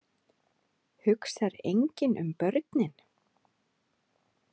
Hugsar enginn um börnin?